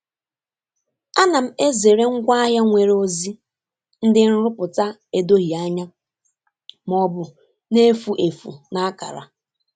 A na m ezere ngwaahịa nwere ozi ndị nrụpụta edoghị anya ma ọ bụ na-efu efu na akara.